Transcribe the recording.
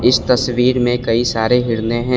इस तस्वीर में कई सारे हिरने हैं।